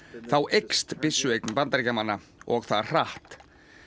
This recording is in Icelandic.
þá eykst byssueign Bandaríkjamanna og það hratt